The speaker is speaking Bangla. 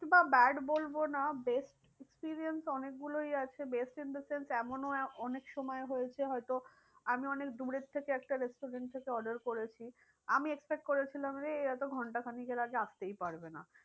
বা bad বলবো না best experience অনেক গুলোই আছে best in the sense এমনও অনেক সময় হয়েছে হয় তো আমি একটা দূরের থেকে একটা restaurants থেকে order করেছি। আমি expect করেছিলাম রে এরা তো ঘন্টা খানেকের আগে আসতেই পারবে না।